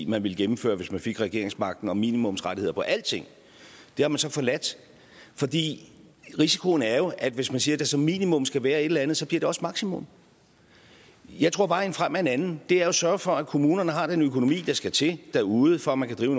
man ville gennemføre hvis man fik regeringsmagten om minimumsrettigheder på alting det har man så forladt fordi risikoen jo er at hvis man siger at der som minimum skal være et eller andet så bliver det også maksimum jeg tror vejen frem er en anden er at sørge for at kommunerne har den økonomi der skal til derude for at man kan drive